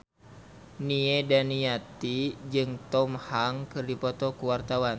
Nia Daniati jeung Tom Hanks keur dipoto ku wartawan